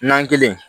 Nan kelen